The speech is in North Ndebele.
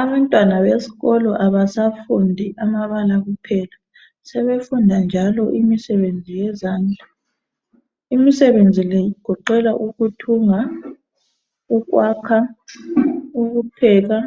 Abantwana besikolo abasafundi amabala kuphela, sebefunda njalo imisenezi yezandla. Imisebenzi le igoqela ukuthunga, ukwakha, ukupheka